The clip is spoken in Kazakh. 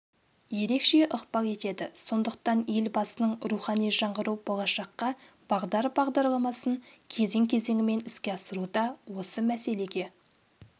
ерекше ықпал етеді сондықтан елбасының рухани жаңғыру болашаққа бағдар бағдарламасын кезең-кезеңімен іске асыруда осы мәселеге